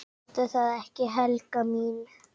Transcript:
Ertu það ekki, Helga mín?